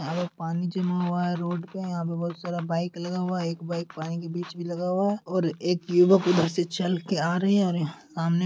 यहां पे पानी जमा हुआ है रोड पे यहा पे बहुत सारा बाइक लगा हुआ है एक बाइक पानी के बीच मे लगा हुआ है और एक युवक उधर से चल के आ रहे है और यहा सामने --